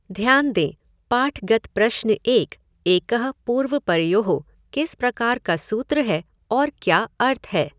ध्यान दें, पाठगत प्रश्न एक, एकः पूर्वपरयोः, किस प्रकार का सूत्र है और क्या अर्थ है?